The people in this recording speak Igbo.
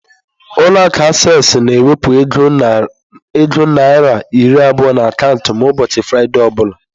Ụlọ akụ acesịị na-ewepụ ego naira iri abụọ n'akaụntụ m ụbọchị Fraịde ọ bụla.